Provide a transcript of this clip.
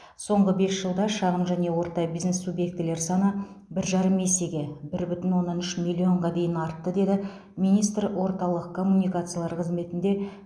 соңғы бес жылда шағын және орта бизнес субъектілер саны бір жарым есеге бір бүтін оннан үш миллионға дейін артты деді министр орталық коммуникациялар қызметінде